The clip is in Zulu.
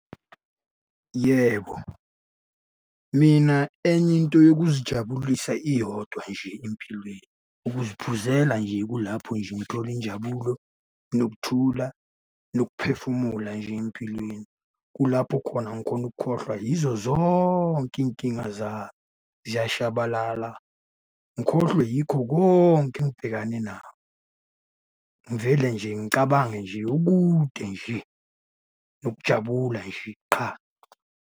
Yebo, mina enye into yokuzijabulisa iyodwa nje empilweni, ukuziphuzela nje kulapho nje ngithola injabulo, nokuthula, nokuphefumula nje empilweni. Kulapho khona ngikhona ukukhohlwa yizo zonke iy'nkinga zami, ziyashabalala. Ngikhohlwe yikho konke engibhekane nakho, ngivele nje ngicabange okude nje nokujabula nje qha.